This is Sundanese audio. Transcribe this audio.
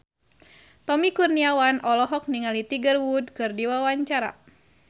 Tommy Kurniawan olohok ningali Tiger Wood keur diwawancara